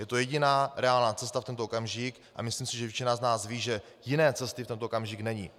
Je to jediná reálná cesta v tento okamžik a myslím si, že většina z nás ví, že jiné cesty v tento okamžik není.